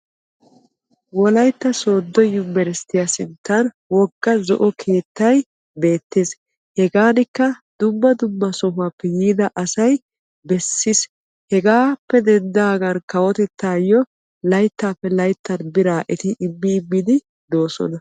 Wolaytta soodo yunbbersttiya sinttan woggaa zo'o keettay beetes. Hegaanikka dumma dumma sohuwappe yiidda asay besiis hegaappe denddagan kawotettawu bira immiddi de'ossonna.